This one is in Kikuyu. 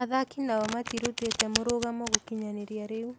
Athaki nao matĩrutĩte mũrũgamo gũkinyĩria rĩu